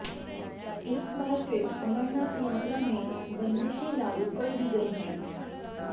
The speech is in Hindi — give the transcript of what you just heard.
एक बार फिर अमरनाथ यात्रा में बंदिशें लागू कर दी गई हैं